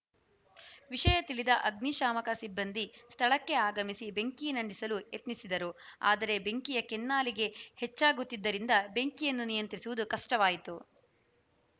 ವಿಷಯ ತಿಳಿದ ಅಗ್ನಿಶಾಮಕ ಸಿಬ್ಬಂದಿ ಸ್ಥಳಕ್ಕೆ ಆಗಮಿಸಿ ಬೆಂಕಿ ನಂದಿಸಲು ಯತ್ನಸಿದರು ಆದರೆ ಬೆಂಕಿಯ ಕೆನ್ನಾಲಿಗೆ ಹೆಚ್ಚಾಗುತ್ತಿದ್ದರಿಂದ ಬೆಂಕಿಯನ್ನು ನಿಯಂತ್ರಿಸುವುದು ಕಷ್ಟವಾಯಿತು